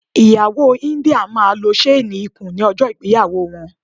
Ìyàwó India máa lo ṣéénì ikùn ní ọjọ́ ìgbéyàwó wọn.